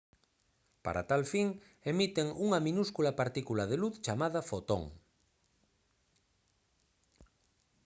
para tal fin emiten unha minúscula partícula de luz chamada fotón